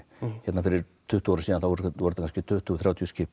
hérna fyrir tuttugu árum síðan voru þetta kannski tuttugu til þrjátíu skip